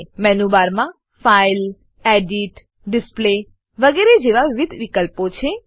menu બારમાં file edit display વગેરે જેવા વિવિધ વિકલ્પો છે